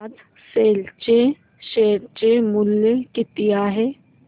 आज सेल चे शेअर चे मूल्य किती आहे